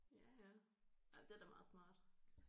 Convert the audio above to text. Ja ja ja det er da meget smart